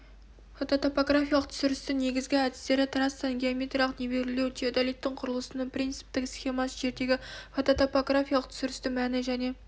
фототопографиялық түсірістің негізгі әдістері трассаны геометриялық нивелирлеу теодолиттің құрылысының принціптік схемасы жердегі фототопографиялық түсірістің мәні және